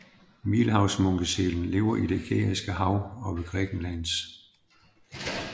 Middelhavsmunkesælen lever i det Ægæiske Hav ved Grækenlands